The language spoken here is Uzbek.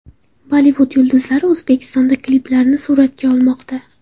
Bollivud yulduzlari O‘zbekistonda kliplarini suratga olmoqda .